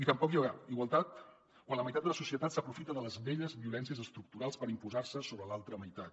tampoc hi haurà igualtat quan la meitat de la societat s’aprofita de les velles violències estructurals per imposar se sobre l’altra meitat